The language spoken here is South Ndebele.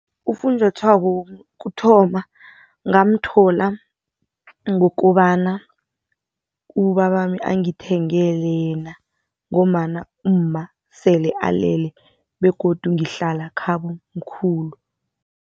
Ufunjathwako wokuthoma ngamthola ngokobana ubabami angithengele yena ngombana umma sele alele begodu ngihlala khabo mkhulu